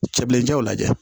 Cɛbilenjaw lajɛ